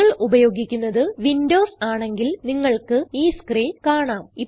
നിങ്ങൾ ഉപയോഗിക്കുന്നത് വിൻഡോസ് ആണെങ്കിൽ നിങ്ങൾക്ക് ഈ സ്ക്രീൻ കാണാം